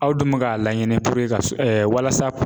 Aw dun bɛ k'a laɲini ka s walasa